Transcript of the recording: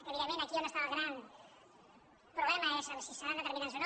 evidentment aquí on està el gran problema és en si seran determinants o no